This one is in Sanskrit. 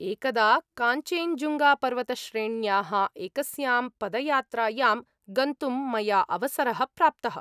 एकदा काञ्चेञ्जुङ्गापर्वतश्रेण्याः एकस्यां पदयात्रायां गन्तुं मया अवसरः प्राप्तः।